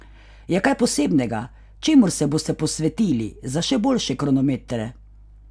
Je kaj posebnega, čemur se boste posvetili za še boljše kronometre?